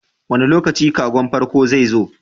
Wane lokaci kagon farko zai zo?